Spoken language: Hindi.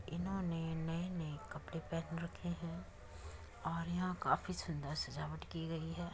इन्होंने नए नए कपड़े पहन रखे है और यहाँ काफी सुन्दर सजावट की गई है।